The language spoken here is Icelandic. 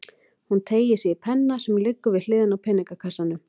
Hún teygir sig í penna sem liggur við hliðina á peningakassanum.